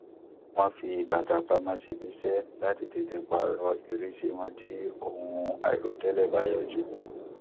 wọn fi bàtà pamọ síbi iṣẹ láti tètè pààrọ ìrísí wọn tí ohun àìròtẹlẹ bá yọjú